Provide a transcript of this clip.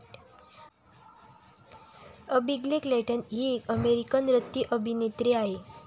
Abigail Clayton हि एक American रतिअभिनेत्री आहे.